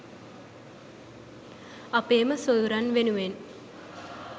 අපේම සොයුරන් වෙනුවෙන්